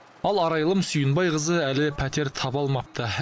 ал арайлым сүйінбайқызы әлі пәтер таба алмапты